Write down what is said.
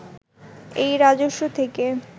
এই রাজস্ব থেকে